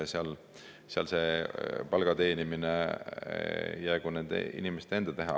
Seal see palga teenimine jäägu nende inimeste enda teha.